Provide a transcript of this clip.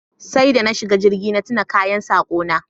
Sai da na shiga jirgi na tuna kayan sako na